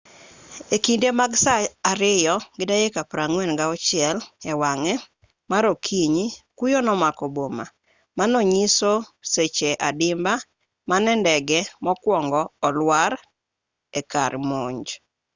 e kinde mag saa 8:46 e wang'e mar okinyi kuyo nomako boma manonyiso seche adimba mane ndege mokwongo olwar e kar monj